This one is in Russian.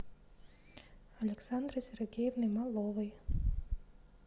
александрой сергеевной маловой